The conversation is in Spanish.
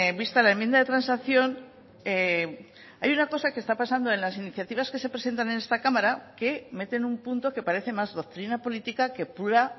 vista la enmienda de transacción hay una cosa que está pasando en las iniciativas que se presentan en esta cámara que meten un punto que parece más doctrina política que pura